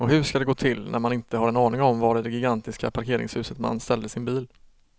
Och hur ska det gå till när man inte har en aning om var i det gigantiska parkeringshuset man ställde sin bil.